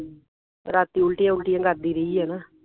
ਰਾਤੀ ਉਲਟੀ ਉਲਟੀਆਂ ਕਰਦੀ ਰਹੀ ਹੈ